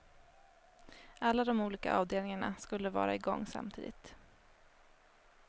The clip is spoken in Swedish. Alla de olika avdelningarna skulle vara i gång samtidigt.